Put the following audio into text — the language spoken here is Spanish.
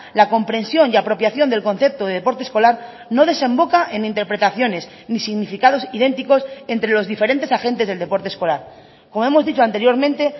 la comprensión y apropiación del concepto de deporte escolar no desemboca en interpretaciones ni significados idénticos entre los diferentes agentes del deporte escolar como hemos dicho anteriormente